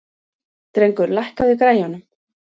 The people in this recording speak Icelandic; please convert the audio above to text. Drengur, lækkaðu í græjunum.